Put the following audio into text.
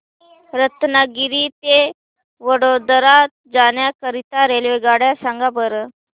रत्नागिरी ते वडोदरा जाण्या करीता रेल्वेगाड्या सांगा बरं